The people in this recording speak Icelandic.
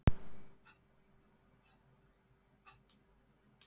Þessi réttur er sérlega góður með fiskréttum og nýbökuðu brauði.